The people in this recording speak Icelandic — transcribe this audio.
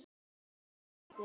Sjöfn og Árni.